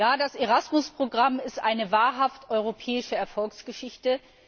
Ja, das ERASMUS Programm ist eine wahrhaft europäische Erfolgsgeschichte.